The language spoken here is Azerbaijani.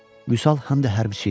Vüsal həm də hərbiçi idi.